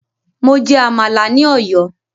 Mo jẹ Àmàlà ní ọ̀yọ́